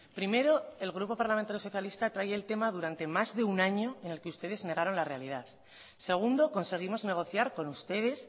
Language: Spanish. primero el grupo parlamentario socialista trae el tema durante más de un año en el que ustedes negaron la realidad segundo conseguimos negociar con ustedes